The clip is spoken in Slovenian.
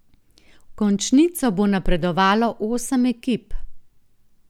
V končnico bo napredovalo osem ekip.